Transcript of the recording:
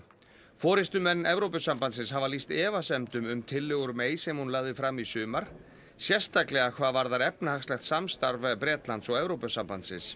forystumenn Evrópusambandsins hafa lýst efasemdum um tillögur May sem hún lagði fram í sumar sérstaklega hvað varðar efnahagslegt samstarf Bretlands og Evrópusambandsins